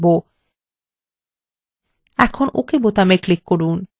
এখন ok button click করুন